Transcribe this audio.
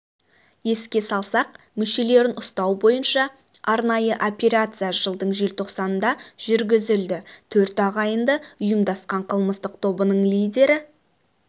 еске салсақ мүшелерін ұстау бойынша арнайы операция жылдың желтоқсанында жүргізілді төрт ағайынды ұйымдасқан қылмыстық тобының лидері